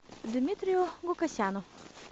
дмитрию гукасяну